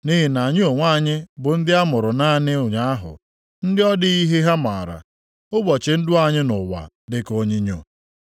Nʼihi na anyị onwe anyị bụ ndị a mụrụ naanị ụnyaahụ, ndị ọ dịghị ihe ha maara. Ụbọchị ndụ anyị nʼụwa dịka onyinyo.